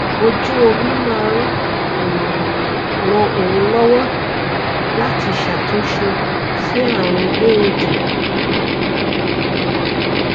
ojú omi máa ń um ran òun lówó láti ṣàtúnṣe sí àrùn éèdì